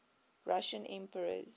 russian emperors